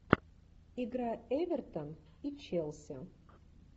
игра эвертон и челси